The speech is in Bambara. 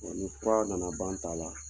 ni fura na na ban ta la